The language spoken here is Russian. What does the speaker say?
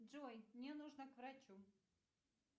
джой мне нужно к врачу